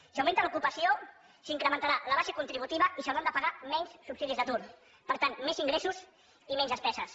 si augmenta l’ocupació s’incrementarà la base contributiva i s’hauran de pagar menys subsidis d’atur per tant més ingressos i menys despeses